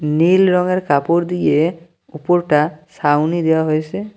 নীল রঙের কাপড় দিয়ে উপরটা সাউনি দেওয়া হয়েসে।